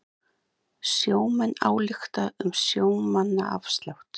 Sjómenn álykta um sjómannaafslátt